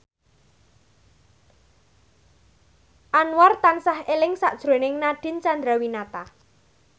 Anwar tansah eling sakjroning Nadine Chandrawinata